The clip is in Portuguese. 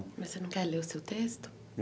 Mas você não quer ler o seu texto?